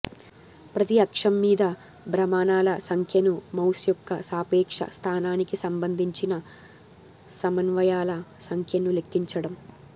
ప్రతి అక్షం మీద భ్రమణాల సంఖ్యను మౌస్ యొక్క సాపేక్ష స్థానానికి సంబంధించిన సమన్వయాల సంఖ్యను లెక్కించడం